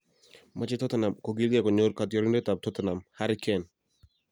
Machei Tottenham kogilgei konyor kotiorindetab Tottenham, Harry Kane